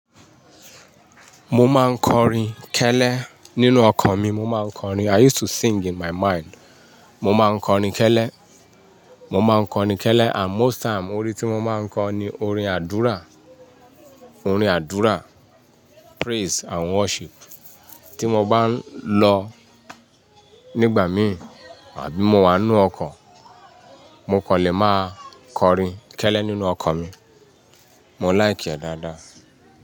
Mo máa ń kọrin kẹ́lẹ́ nínú ọkọ̀ mi. Mo máa ń kọrin. I used to sing in my mind. Mo máa ń kọrin kẹ́lẹ́, mo máa ń kọrin kẹ́lẹ́ and most time orí tí mo máa ń kọ ni orin àdúrà, orin àdúrà, praise and worship. Tí mo bá ń lọ nígbà mí àbí mo wà nínú ọkọ̀, mo kàn lè máa kọrin kẹ́lẹ́ nínú ọkan mi. Mo like ẹ́ dáadáa.